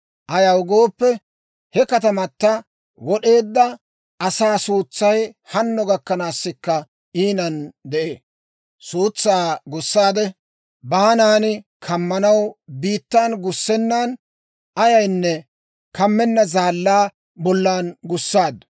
« ‹Ayaw gooppe, he katamata wod'eedda asaa suutsay hanno gakkanaasikka iinan de'ee; suutsaa gussaade, baanan kammanaw biittan gussennan, ayaynne kammenna zaallaa bollan gussaaddu.